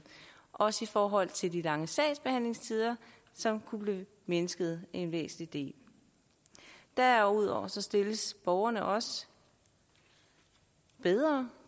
også i forhold til de lange sagsbehandlingstider som kunne blive mindsket væsentligt derudover stilles borgerne også bedre